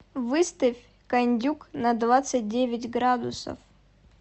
выставь кондюк на двадцать девять градусов